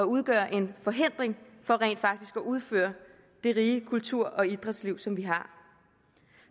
udgøre en forhindring for rent faktisk at udfolde det rige kultur og idrætsliv som vi har